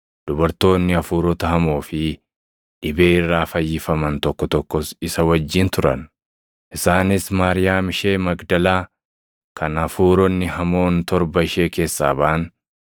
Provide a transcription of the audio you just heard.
dubartoonni hafuurota hamoo fi dhibee irraa fayyifaman tokko tokkos isa wajjin turan; isaanis Maariyaam ishee Magdalaa kan hafuuronni hamoon torba ishee keessaa baʼan,